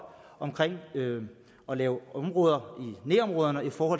om at lave områder i nærområderne for